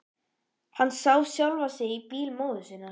Hann sá sjálfan sig á bíl móður sinnar.